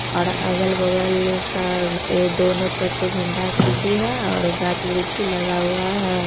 और अगल-बगल स ए दोनों तरफ से झंडा का अथी है और गाछ वृक्ष भी लगा हुआ है।